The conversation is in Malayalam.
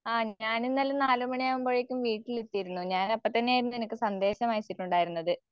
ആം ഞാനിന്നലെ നാല് മണിയാകുമ്പഴേക്കും വീട്ടിലെത്തിയിരുന്നു. ഞാനപ്പത്തന്നെ നിനക്ക് സന്ദേശമയച്ചിട്ടുണ്ടാരുന്നത്.